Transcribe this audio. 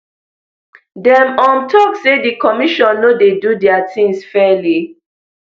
dem um tok say di commission no dey do dia tins fairly